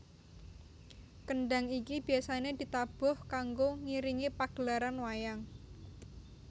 Kendhang iki biasane ditabuh kanggo ngiringi pagelaran wayang